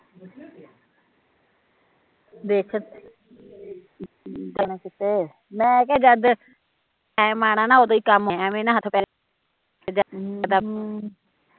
ਦੇਖ , ਮੈਂ ਕਿਹਾ ਜਦ ਟਾਈਮ ਆਉਣਾ ਓਦੋਂ ਹੀਂ ਕੰਮ ਹੋਣਾ ਐਵੈ ਨਾ ਹੱਥ ਪੈਰ